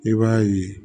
I b'a ye